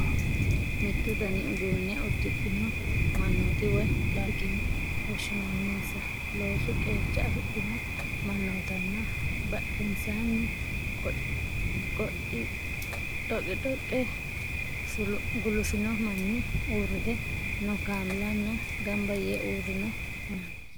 Mittu dani uduunne uddidhino mannooti woy tiraafike yine woshshinanninsa loosu qeeca afidhino mannootanna badhensaanni dhoqidhoqqe gulufino manni, uurrite noo kameellanna gamba yee uurrino mannaati.